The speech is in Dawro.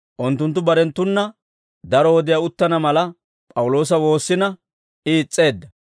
Unttunttu barenttuna daro wodiyaa uttana mala P'awuloosa woossina I is's'eedda.